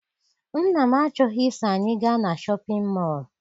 Nna m achọghị I so anyị ga na Shọpịn mọọ.